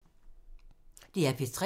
DR P3